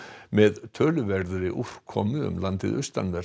með töluverðri úrkomu um landið austanvert